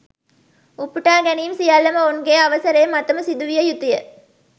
උපුටා ගැනීම් සියල්ලම ඔවුන්ගේ අවසරය මතම සිදුවිය යුතුය